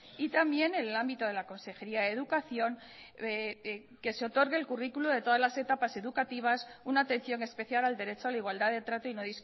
y también en el ámbito de la consejería de educación que se otorgue el currículo de todas las etapas educativas una atención especial al derecho a la igualdad de trato y no